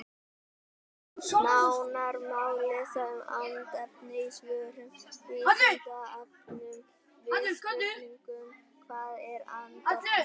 Nánar má lesa um andefni í svörum á Vísindavefnum við spurningunum Hvað er andefni?